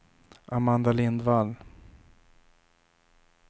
Amanda Lindvall